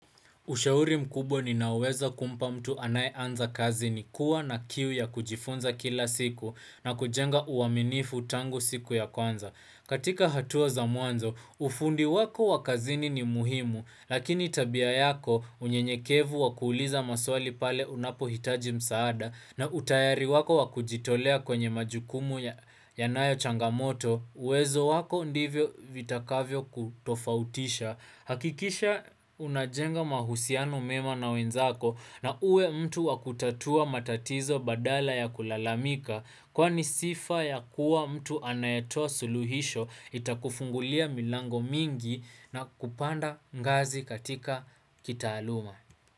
Ushauri mkubwa ninaweza kumpa mtu anayeanza kazi ni kuwa na kiu ya kujifunza kila siku na kujenga uaminifu tangu siku ya kwanza. Katika hatua za mwanzo, ufundi wako wa kazini ni muhimu, lakini tabia yako, unyenyekevu wa kuuliza maswali pale unapohitaji msaada, na utayari wako wa kujitolea kwenye majukumu yanayo changamoto, uwezo wako ndivyo vitakavyo kutofautisha. Hakikisha unajenga mahusiano mema na wenzako na uwe mtu wakutatua matatizo badala ya kulalamika, Kwani sifa ya kuwa mtu anayetoa suluhisho itakufungulia milango mingi na kupanda ngazi katika kitaaluma.